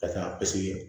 Ka taa paseke